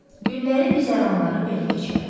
Günləri güzəranları belə keçərdi.